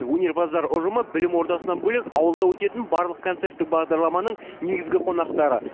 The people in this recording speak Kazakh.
өнерпаздар ұжымы білім ордасынан бөлек ауылда өтетін барлық концерттік бағдарламаның негізгі қонақтары